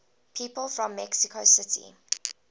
people from mexico city